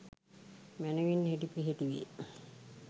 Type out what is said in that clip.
මැනවින් හෙළිපෙහෙළි වේ.